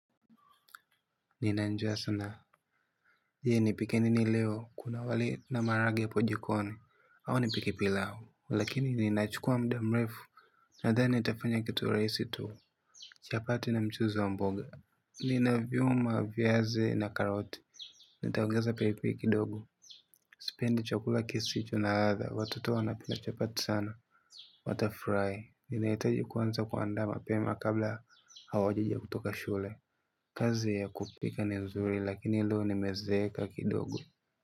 Ninajua sana ili nipike nini leo kuna wali na maharage hapo jikoni. Au nipike pilau. Lakini linachukua muda mrefu. Nadhani nitafanya kitu rahisi tu. Chapati na mchuzi wa mboga ninaviuma viazi na karoti. Nitaongeza pilipili kidogobSipendi chakula kisicho na ladha. Watoto wanapenda chapati sana. Watafurahi. Ninahitaji kuanza kuandaa mapema kabla hawajaja kutoka shule. Kazi ya kupika ni nzuri lakini leo nimezeeka kidogo.